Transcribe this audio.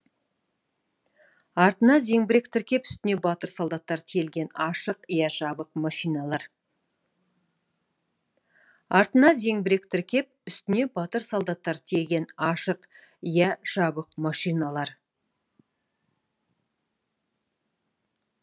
артына зеңбірек тіркеп үстіне батыр солдаттар тиелген ашық иә жабық машиналар